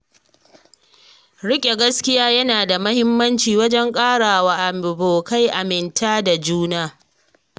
Riƙe gaskiya yana da mahimmanci wajen ƙarawa abokai aminta da juna.